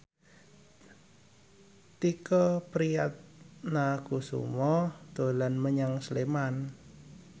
Tike Priatnakusuma dolan menyang Sleman